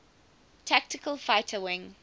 tactical fighter wing